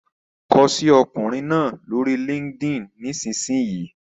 Kọ sí ọkùnrin náà lórí LinkedIn nísinsìnyí!